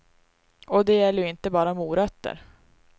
Och det gäller ju inte bara morötter.